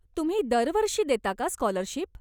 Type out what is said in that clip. तुम्ही दरवर्षी देता का स्कॉलरशिप?